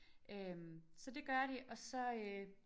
Øh så det gør de og så øh